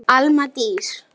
Alma Dís.